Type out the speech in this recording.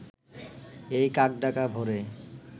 এই কাকডাকা ভোরে